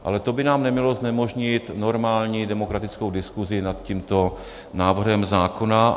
Ale to by nám nemělo znemožnit normální demokratickou diskuzi nad tímto návrhem zákona.